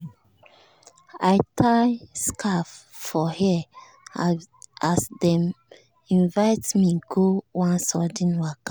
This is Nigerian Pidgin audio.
i tie scarf for hair as dem invite me go one sudden waka.